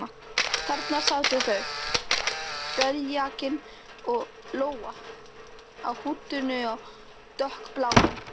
Þarna sátu þau, beljakinn og Lóa, á húddinu á dökkbláum